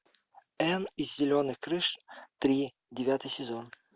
энн из зеленых крыш три девятый сезон